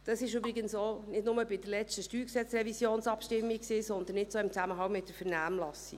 Das war übrigens auch nicht nur bei der letzten StGRevisionsabstimmung so, sondern auch jetzt, im Zusammenhang mit der Vernehmlassung.